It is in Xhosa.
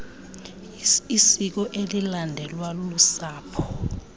isiko elilandelwa lusapho